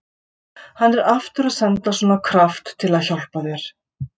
Hann er aftur að senda svona kraft til að hjálpa þér.